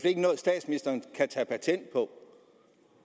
ikke noget statsministeren kan tage patent på